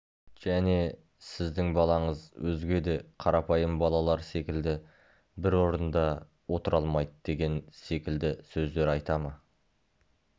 және сіздің балаңыз өзге де қарапайым балалар секілді бір орында отыра алмайды деген секілді сөздер айта ма